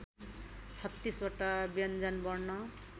३६ वटा व्यञ्जनवर्ण